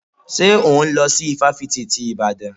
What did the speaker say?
Ṣé òhún lọ sí ifáfitì ti Ìbàdàn?